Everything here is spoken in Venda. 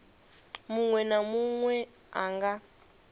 munwe na munwe a nga